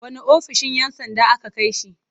Wanne ofishin 'yan sanda aka kai shi.